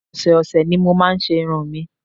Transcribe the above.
Ọ̀sẹ̀ ọ̀sẹ̀ ni mo máa ń ṣe irun mi